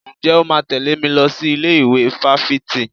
Ǹjẹ́ o máa tẹ̀lé mi lọ sí ilé ìwé fáfitì?